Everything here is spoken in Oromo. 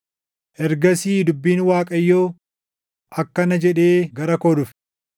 Ergasii dubbiin Waaqayyoo akkana jedhee gara koo dhufe: